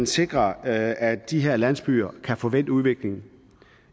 sikre at at de her landsbyer kan få vendt udviklingen